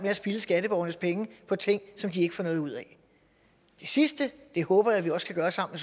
at spilde skatteborgernes penge på ting som de ikke får noget ud af det sidste håber jeg vi også kan gøre sammen